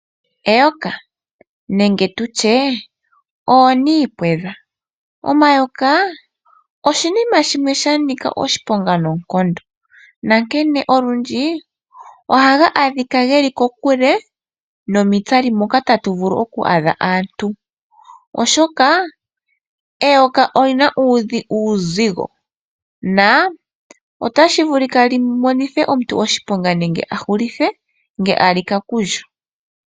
Eyoka nenge tutye oonimpwedha, omayoka oshinima shimwe shanika oshiponga nonkondo nankene olundji ohaga adhika geli kokule nomitsali moka taga vulu oku adha aantu oshoka eyoka olina uuzigo. Otashi vulika li monitha omuntu oshiponga nenge ahulithe ngele alika kulyo.